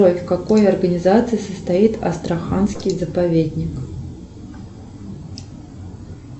джой в какой организации состоит астраханский заповедник